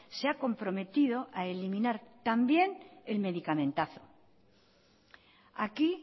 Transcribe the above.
se ha comprometido a eliminar también el medicamentazo aquí